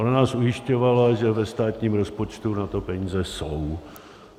Ona nás ujišťovala, že ve státním rozpočtu na to peníze jsou.